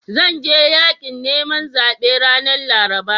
Zan je yaƙin neman zaɓe ranar Laraba.